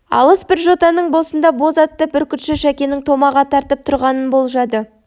алыс бір жотаның басында боз атты бүркітші шәкенің томаға тартып тұрғанын болжады